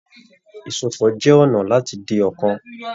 Ìsopọ̀ jẹ ọnà láti di ọ̀kan.